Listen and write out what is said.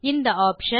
இந்த ஆப்ஷன்